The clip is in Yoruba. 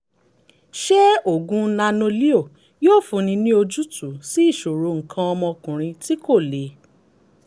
ṣé oògùn nano-leo yóò fúnni ní ojútùú sí ìṣòro nǹkan ọmọkùnrin tí kò le?